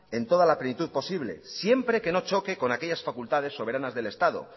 en toda la plenitud posible siempre que no choque con aquellas facultades soberanas del estado